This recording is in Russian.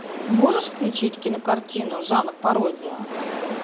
можешь включить кинокартину жанр пародия